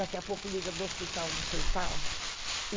Daqui a pouco liga do hospital distrital.